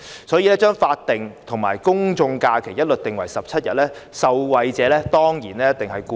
所以，把法定假日和公眾假期劃一訂為17天，受惠者當然是僱員。